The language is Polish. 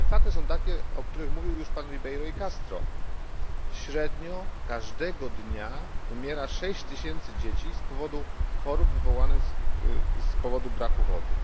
Ale fakty są takie jak mówił już pan Ribeiro e Castro średnio każdego dnia umiera 6 tysięcy dzieci z powodu chorób wywołanych brakiem wody.